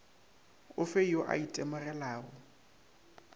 o fe yo a itemogelago